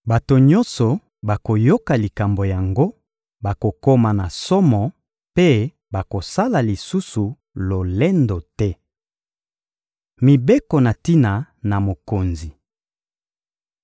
Bato nyonso bakoyoka likambo yango, bakokoma na somo mpe bakosala lisusu lolendo te. Mibeko na tina na mokonzi